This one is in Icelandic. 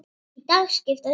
Í dag skipta þau tugum.